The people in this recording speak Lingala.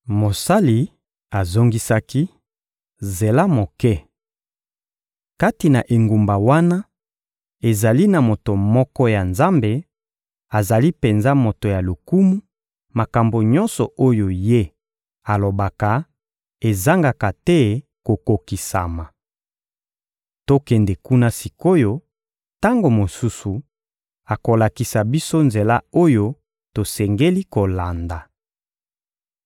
Mosali azongisaki: — Zela moke! Kati na engumba wana, ezali na moto moko ya Nzambe; azali penza moto ya lokumu; makambo nyonso oyo ye alobaka, ezangaka te kokokisama. Tokende kuna sik’oyo, tango mosusu akolakisa biso nzela oyo tosengeli kolanda.